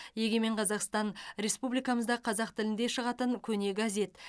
егемен қазақстан республикамызда қазақ тілінде шығатын көне газет